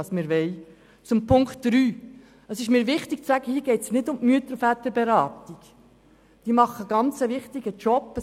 Es wäre sicher ein falsches Symbol, die ersten beiden Punkte abzuschreiben.